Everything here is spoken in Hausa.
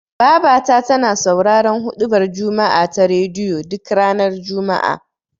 Babata tana sauraron huɗubar juma'a ta rediyo, duk ranar juma'a.